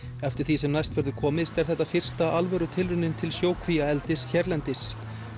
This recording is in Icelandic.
eftir því sem næst verður komist er þetta fyrsta alvöru tilraunin til sjókvíaeldis hérlendis